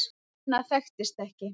Annað þekktist ekki.